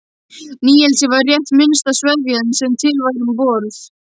Níelsi var rétt minnsta sveðjan sem til var um borð.